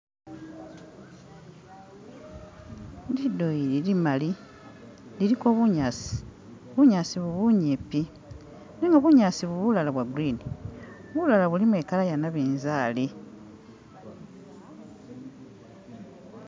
Lindoyi limaali liliko bunyaasi bunyaasi bu bunyimpi bunyaasi bu bulala bwa'green bulala bulimo i'colour iya' nabinzali